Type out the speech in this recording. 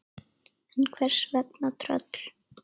En hvers vegna tröll?